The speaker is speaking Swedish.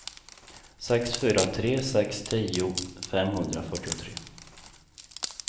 sex fyra tre sex tio femhundrafyrtiotre